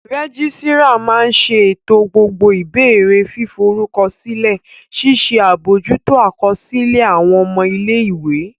Rẹ́gísírà máa n ṣètò gbogbo ìbéèrè fíforúkọsílẹ̀, ṣíṣe àbojútó àkọsílẹ̀ àwọn ọmọ ilé-ìwé